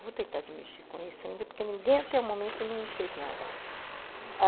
Vou tentar de mexer com isso ainda, porque ninguém até o momento não fez nada.